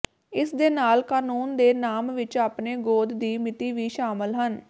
ਇਸ ਦੇ ਨਾਲ ਕਾਨੂੰਨ ਦੇ ਨਾਮ ਵਿੱਚ ਆਪਣੇ ਗੋਦ ਦੀ ਮਿਤੀ ਵੀ ਸ਼ਾਮਲ ਹਨ